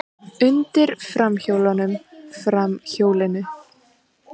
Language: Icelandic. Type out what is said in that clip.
Undir framhjólunum, framhjólinu.